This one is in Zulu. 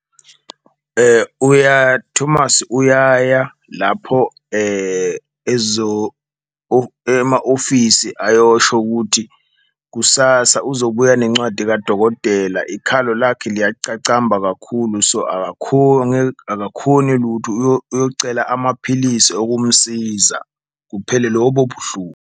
Thomas uyaya lapho ema-ofisi ayosho ukuthi kusasa uzobuya nencwadi kadokodela ikhalo lakhe liyacacamba kakhulu, so akakhoni lutho. Uyocela amaphilisi okumsiza kuphele lobo buhlungu.